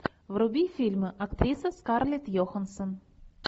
вруби фильм актриса скарлетт йоханссон